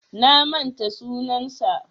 Na manta sunansa.